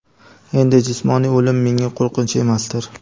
Endi, jismoniy o‘lim menga qo‘rqinch emasdir.